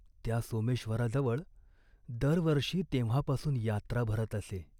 त्या सोमेश्वराजवळ दर वर्षी तेव्हापासून यात्रा भरत असे.